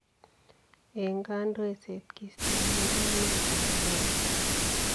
En kondoiset ,kiostoenge emet ab Amerika.